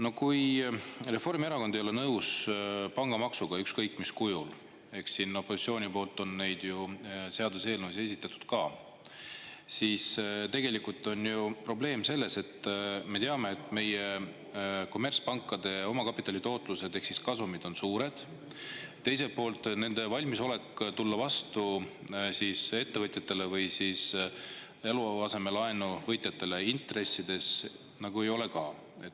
No kui Reformierakond ei ole nõus pangamaksuga ükskõik mis kujul – eks siin opositsioon ole neid seaduseelnõusid juba esitanud ka –, siis on ju probleem selles, et me teame, et meie kommertspankade omakapitali tootlused ehk kasumid on suured, aga teiselt poolt nende valmisolek tulla ettevõtjatele või eluasemelaenu võtjatele intresside asjus vastu suur nagu ei ole.